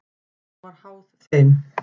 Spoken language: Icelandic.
Hún var háð þeim.